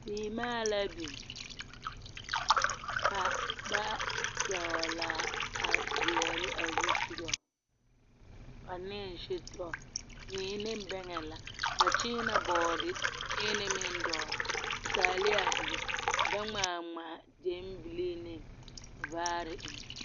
Seemaa la biŋ. Ka ba dɔgla zeɛre a zeɛre a zusogɔ, ane setɔ mui ne bɛŋɛ la. Ba kyeenee bɔɔdekyeene meŋ dɔgle. Ka taaleɛ bebe, ka ba ŋmaa ŋmaa gyɛmbelee ne vaare eŋ.